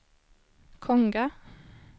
Konga